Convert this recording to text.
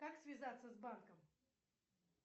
как связаться с банком